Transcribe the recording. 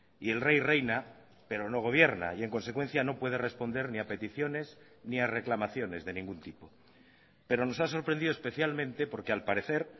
y el rey reina pero no gobierna y en consecuencia no puede responder ni a peticiones ni a reclamaciones de ningún tipo pero nos ha sorprendido especialmente porque al parecer